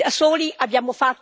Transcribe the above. in Europa, per l'Italia.